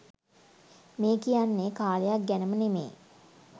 මේ කියන්නේ කාලයක් ගැනම නෙමේ